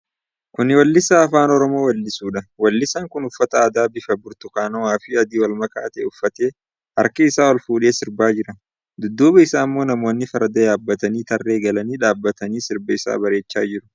Kuni weellisaa Afaan Oromoon weellisuudha. Weelliisaan kun uffata aadaa bifa burtukaanawaa fi adii walmakaa ta'e uffatee, harka isaa olfuudhee sirbaa jira. Dudduuba isaammo namoonni farda yaabbatanii tarree galanii dhaabatanii sirba isaa bareechaa jiru.